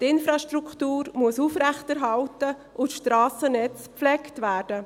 Die Infrastruktur muss aufrechterhalten und das Strassennetz gepflegt werden.